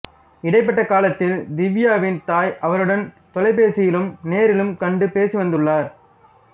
இடைப்பட்ட காலத்தில் திவ்யாவின் தாய் அவருடன் தொலைபேசியிலும் நேரிலும் கண்டு பேசி வந்துள்ளார்